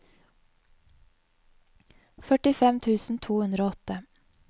førtifem tusen to hundre og åtte